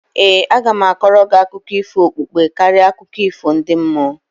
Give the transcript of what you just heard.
ee, aga m a kọọrọ gị akụkọ ifo okpukpe karịa akụkọ ifo ndi mmụọ